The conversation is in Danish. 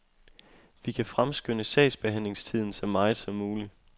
Vi kan fremskynde sagsbehandlingstiden så meget som muligt.